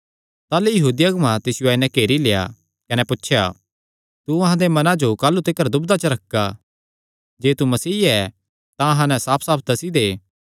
ताह़लू यहूदी अगुआं तिसियो आई नैं घेरी लेआ कने पुछया तू अहां दे मनां जो काह़लू तिकर दुविधा च रखगा जे तू मसीह ऐ तां अहां नैं साफसाफ दस्सी दे